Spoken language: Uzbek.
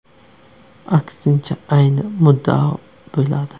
Aksincha, ayni muddao bo‘ladi.